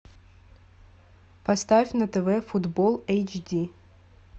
поставь на тв футбол эйч ди